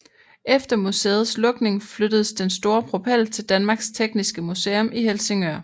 Efter museets lukning flyttedes den store propel til Danmarks Tekniske Museum i Helsingør